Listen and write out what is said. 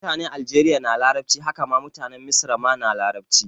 Mutane aljeriya na larabci, haka ma mutanen misra ma na larabci